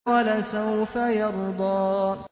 وَلَسَوْفَ يَرْضَىٰ